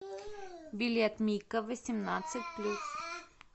билет мико восемнадцать плюс